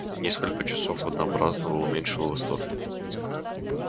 несколько часов однообразного уменьшило восторг